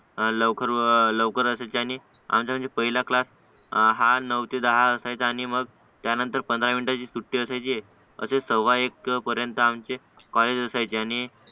लवकर लवकर असायचे आणि आमचा पहिला क्लास हा नऊ ते दहा असायचा आणि मग त्यानंतर मग पंधरा मिनिटांची सुट्टी असायची असे सव्वा एक पर्यंत आमचे कॉलेज असायचे आणि